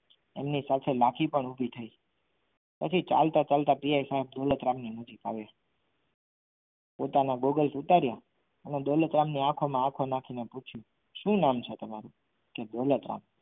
તેમની સાથે લાઠી પણ ઊભી થઈ પછી ચાલતા ચાલતા પીએસઆઇ દોલતરામ ની નજીક આવે છે પોતાના gogels ઉતારીને દોલતરામ ની આંખોમાં આંખો નાખીને શું નામ છે તમારું કે દોલતરામ